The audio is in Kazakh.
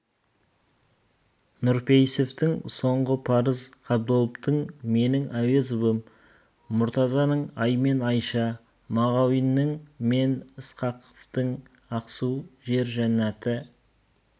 нұрпейісовтің соңғы парыз қабдоловтың менің әуезовым мұртазаның ай мен айша мағауиннің мен ысқақовтың ақсу жер жаннаты